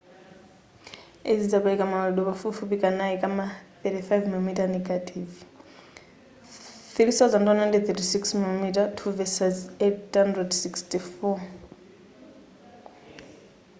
izi zimapereka mawalidwe pafupifupi kanayi kama 35 mm negative 3136mm2 versus 864